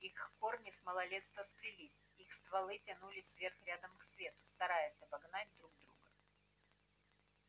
их корни с малолетства сплелись их стволы тянулись вверх рядом к свету стараясь обогнать друг друга